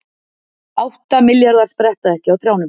Átta milljarðar spretta ekki á trjánum